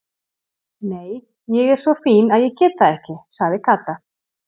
Nei, ég er svo fín að ég get það ekki sagði Kata.